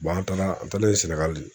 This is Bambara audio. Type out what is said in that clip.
an taara an taalen Sɛnɛgali